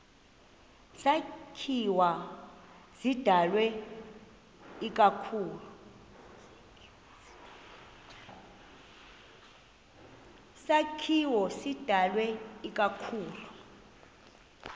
sakhiwo sidalwe ikakhulu